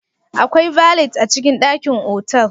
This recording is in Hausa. Akwai Valet a cikin dakin otal